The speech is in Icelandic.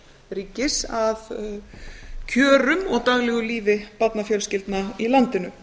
ríkis að kjörum og daglegu lífi barnafjölskyldna í landinu